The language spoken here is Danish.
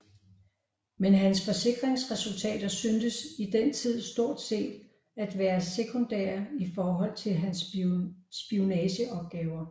Men hans forskningsresultater syntes i den tid stort set at være sekundære i forhold til hans spionageopgaver